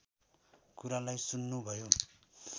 कुरालाई सुन्नु भयो